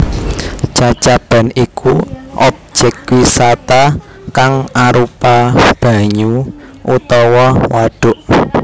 Cacaban iku obyek wisata kang arupa banyu utawa wadhuk